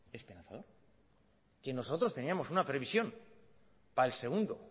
espantoso que nosotros teníamos una previsión para el segundo